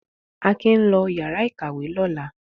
Akin ń lọ ìyàrá-ìkàwé lọ́la.